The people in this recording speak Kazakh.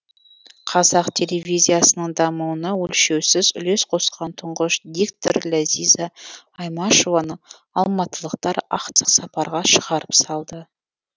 қазақ телевизиясының дамуына өлшеусіз үлес қосқан тұңғыш диктор ләзиза аймашеваны алматылықтар ақтық сапарға шығарып салды